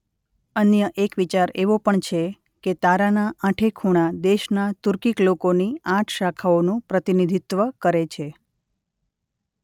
અન્ય એક વિચાર એવો પણ છે કે તારાનાં આઠે ખુણા દેશના તુર્કીક લોકોની આઠ શાખાઓનું પ્રતિનિધિત્વ કરે છે.